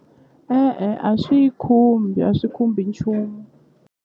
E-e a swi yi khumbi a swi khumbi nchumu.